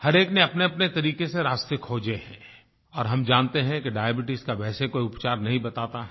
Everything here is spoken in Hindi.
हरएक ने अपनेअपने तरीके से रास्ते खोजे हैं और हम जानते हैं कि डायबीट्स का वैसे कोई उपचार नहीं बताता है